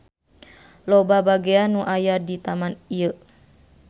Loba bagean nu aya di taman ieu.